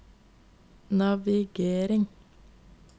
navigering